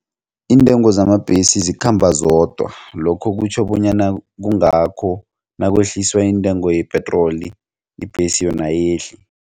Iintengo zamabhesi zikhamba zodwa lokho kutjho bonyana kungakho nakwehliswa intengo yepetroli ibhesi yona ayehli.